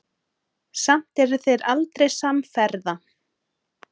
Samt eru þeir aldrei samferða.